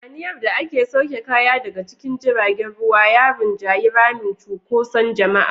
Hayaniyar da ake sauke kaya daga cikin jiragen ruwa ya rinjayi ramin cunkoson jama'a.